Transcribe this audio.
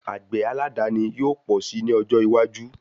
Àgbẹ̀ aládàani yóò pọ̀ si ní ọjọ́ iwájú